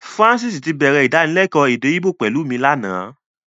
Francis tí bẹ̀rẹ̀ Ìdánilẹ́kọ̀ọ́ èdè Íbò pẹ̀lú mi lánàá